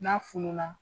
N'a fununa